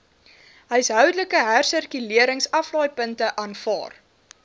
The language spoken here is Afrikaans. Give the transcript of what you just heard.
huishoudelike hersirkuleringsaflaaipunte aanvaar